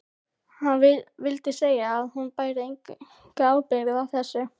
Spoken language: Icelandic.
Hann vildi segja að hún bæri enga ábyrgð á þessu.